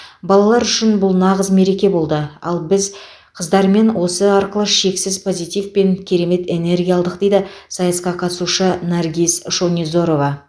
балалар үшін бұл нағыз мереке болды ал біз қыздармен осы арқылы шексіз позитив пен керемет энергия алдық дейді сайысқа қатысушысы наргис шонизорова